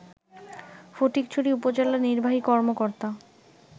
ফটিকছড়ি উপজেলা নির্বাহী কর্মকর্তা